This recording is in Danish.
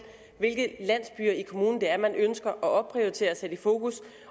hvilke landsbyer i kommunen det er man ønsker at opprioritere og sætte fokus